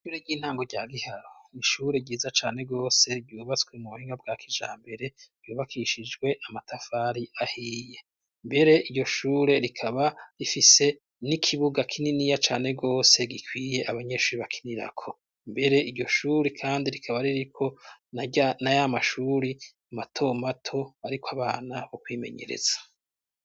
Ishure ry'intango rya giharo ishure ryiza cane rwose ryubatswe mu buhinga bwa kija mbere ryubakishijwe amatafari ahiye mbere iryo shure rikaba rifise n'ikibuga kininiya cane rwose gikwiye abanyenshuri bakinirako mbere iryo shure, kandi rikaba ririko na yo amashuri a matomato, ariko abana bo kwimenyereza.